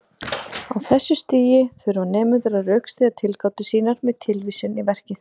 Á þessu stigi þurfa nemendur að rökstyðja tilgátur sínar með tilvísun í verkið.